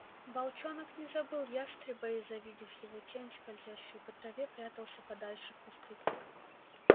волчонок не забыл ястреба и завидев его тень скользящую по траве прятался подальше в кусты